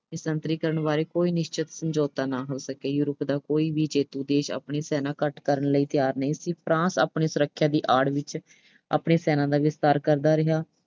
ਨਿਸ਼ਸਤਰੀਕਰਨ ਬਾਰੇ ਕੋਈ ਨਿਸ਼ਚਿਤ ਸਮਝੌਤਾ ਨਾ ਹੋ ਸਕਿਆ। Europe ਦਾ ਕੋਈ ਵੀ ਜੇਤੂ ਦੇਸ਼ ਆਪਣੀ ਸੈਨਾ ਘੱਟ ਕਰਨ ਲਈ ਤਿਆਰ ਨਹੀਂ ਸੀ। France ਆਪਣੀ ਸੁਰੱਖਿਆ ਦੀ ਆੜ ਵਿੱਚ ਆਪਣੀ ਸੈਨਾ ਦਾ ਵਿਸਥਾਰ ਕਰਦਾ ਰਿਹਾ।